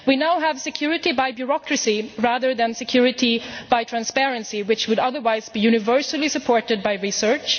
We now have security by bureaucracy rather than security by transparency, which would otherwise be universally supported by research.